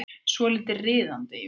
Svolítið riðandi, jú.